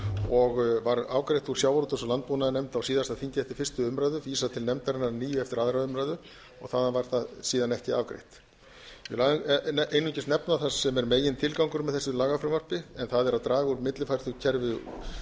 og var afgreitt úr sjávarútvegs og landbúnaðarnefnd á síðasta þingi eftir fyrstu umræðu vísað til nefndarinnar að nýju eftir aðra umræðu og þaðan var það síðan ekki afgreitt ég vil einungis nefna það sem er megintilgangurinn með þessu lagafrumvarpi en það er að draga úr millifærslukerfi í